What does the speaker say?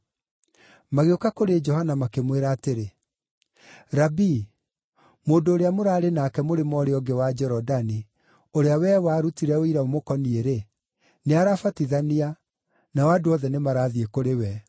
Magĩũka kũrĩ Johana makĩmwĩra atĩrĩ, “Rabii, mũndũ ũrĩa mũraarĩ nake mũrĩmo ũrĩa ũngĩ wa Jorodani, ũrĩa wee warutire ũira ũmũkoniĩ-rĩ, nĩarabatithania, nao andũ othe nĩmarathiĩ kũrĩ we.”